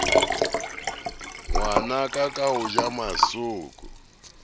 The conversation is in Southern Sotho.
ngwanaka ka ho ja masooko